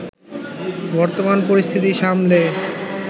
বর্তমান পরিস্থিতি সামলে